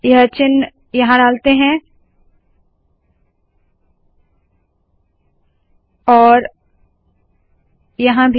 यह चिन्ह यहाँ डालते है और यहाँ भी